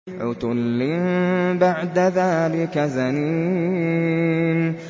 عُتُلٍّ بَعْدَ ذَٰلِكَ زَنِيمٍ